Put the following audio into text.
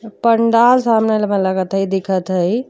पंडाल लगत हई। दिखत हई।